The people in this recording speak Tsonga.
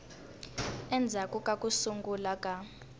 endzhaku ka ku sungula ka